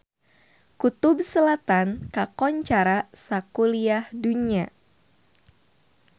Kutub Selatan kakoncara sakuliah dunya